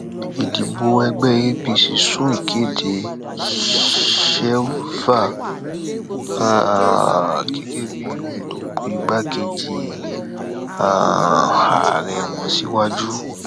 ìdìbò ẹgbẹ apc sún ìkéde shewilva um gẹgẹ bíi òǹdùpọ igbákejì um ààrẹ wọn síwájú